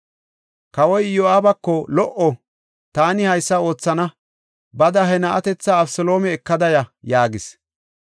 Kawoy Iyo7aabako, “Lo77o! Taani haysa oothana! Bada he na7atetha Abeseloome ekada ya” yaagis.